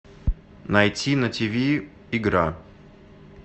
найти на тв игра